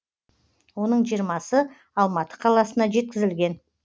оның жиырмасы алматы қаласына жеткізілген